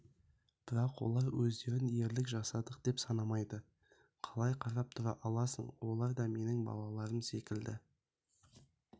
бірақ олар өздерін ерлік жасадық деп санамайды қалай қарап тұра аласың олар да менің балаларым секілді